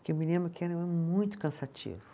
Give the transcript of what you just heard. Porque eu me lembro que era muito cansativo.